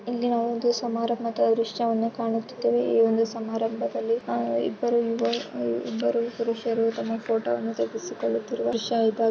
ಇಲ್ಲಿಒಂದು ಸಮಾರಂಭದ ದೃಶ್ಯವನ್ನು ಕಾಣುತ್ತಿದ್ದೇವೆ ಈ ಒಂದು ಸಮಾರಂಭದಲ್ಲಿ ಇಬ್ಬರು ಪುರುಷರು ತಮ್ಮ ಫೋಟೋ ವನ್ನು ತೆಗೆಸಿಕೊಳ್ಳುತ್ತಿರುವ ದೃಶ್ಯ ಇದಾಗಿದೆ --